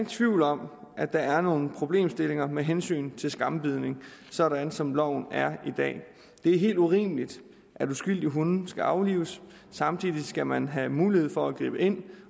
tvivl om at der er nogle problemstillinger med hensyn til skambidning sådan som loven er i dag det er helt urimeligt at uskyldige hunde skal aflives samtidig skal man have mulighed for at gribe ind